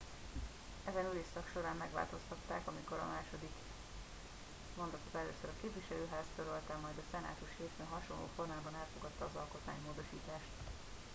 ezen ülésszak során megváltoztatták amikor a második mondatot először a képviselőház törölte majd a szenátus hétfőn hasonló formában elfogadta az alkotmánymódosítást